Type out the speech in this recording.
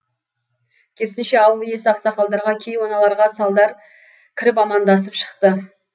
керісінше ауыл иесі ақсақалдарға кейуаналарға салдар кіріп амандасып шығады